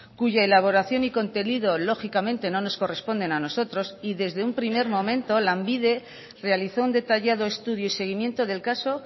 cuya elaboración y contenido lógicamente no nos corresponden a nosotros y desde un primer momento lanbide realizó un detallado estudio y seguimiento del caso